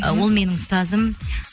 ы ол менің ұстазым